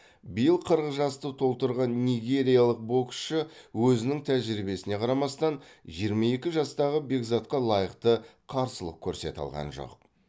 биыл қырық жасты толтырған нигериялық боксшы өзінің тәжірибесіне қарамастан жиырма екі жастағы бекзатқа лайықты қарсылық көрсете алған жоқ